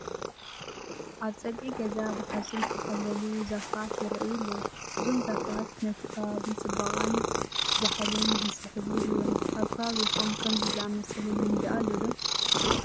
ኣብ ፀግዒ ገዛ ብሓፁር ዝተኸለሉ ዛፋት ይርአዩ ኣለዉ፡፡ እዞም ዛፋት ነቲ ከባቢ ፅባቐን ዛህልን ዝስሕቡ እዮም፡፡ ኣብ ከባቢኹም ከምዚ ዝኣምሰለ ልምዲ ኣሎ ዶ?